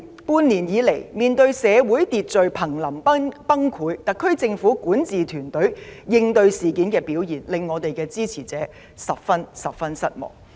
過去半年，社會秩序瀕臨崩潰，特區政府管治團隊應對事件的表現令我們的支持者十分失望。